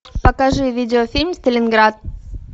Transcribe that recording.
покажи видеофильм сталинград